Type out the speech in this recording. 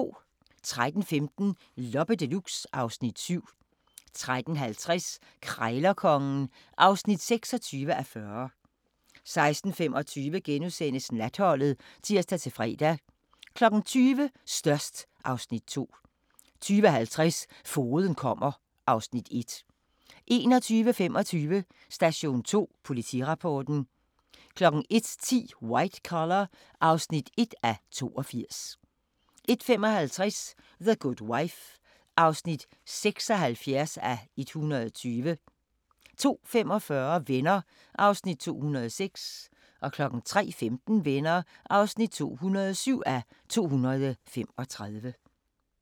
13:15: Loppe Deluxe (Afs. 7) 13:50: Krejlerkongen (26:40) 16:25: Natholdet *(tir-fre) 20:00: Størst (Afs. 2) 20:50: Fogeden kommer (Afs. 1) 21:25: Station 2: Politirapporten 01:10: White Collar (1:82) 01:55: The Good Wife (76:120) 02:45: Venner (206:235) 03:15: Venner (207:235)